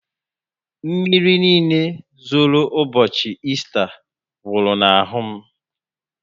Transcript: Mmírí niile zoro ụbọchị Ésta gwuru na ahụ m